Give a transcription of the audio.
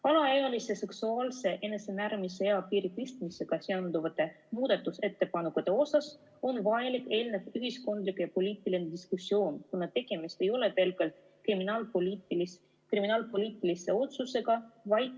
Alaealiste seksuaalse enesemääramise eapiiri tõstmisega seonduvate muudatusettepanekute osas on vajalik eelnev ühiskondlik ja poliitiline diskussioon, kuna tegemist ei ole pelgalt kriminaalpoliitilise otsusega.